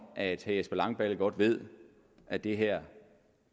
at herre jesper langballe godt ved at det her